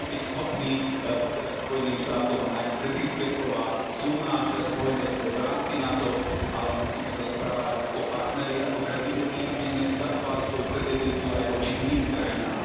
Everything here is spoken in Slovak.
My musíme byť schopní povedať Spojeným štátom aj kritické slová, sú náš spojenec v rámci NATO, ale musíme sa správať ako partneri, ako kredibilní, aby sme si zachovali svoju kredibilitu aj voči iným krajinám.